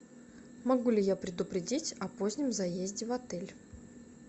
могу ли я предупредить о позднем заезде в отель